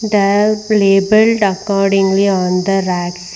That labelled accordingly on the rack.